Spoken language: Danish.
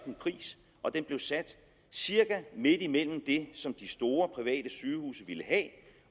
en pris og den blev sat cirka midt imellem det som de store private sygehuse ville have